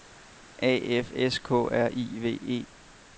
A F S K R I V E